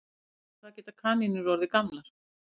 Sjá einnig Hvað geta kanínur orðið gamlar?